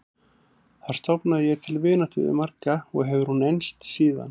Þar stofnaði ég til vináttu við marga og hefur hún enst síðan.